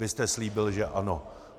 Vy jste slíbil, že ano.